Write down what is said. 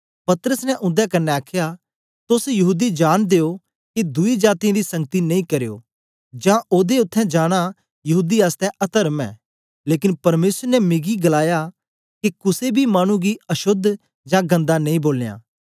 पतरस ने उंदे कन्ने आखया तोस यहूदी जांनदे ओ के दुई जातीयें दी संगति नेई करयो जां ओदे उत्थें जाना यहूदी आसतै अतर्म ऐ लेकन परमेसर ने मिकी गलाया ऐ के कुसे बी मानु गी आशोद जां गन्दा नेई बोलां